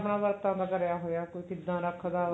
ਵਰਤਾਂ ਦਾ ਕਰਿਆ ਹੋਇਆ ਕਿੱਦਾਂ ਰੱਖਦਾ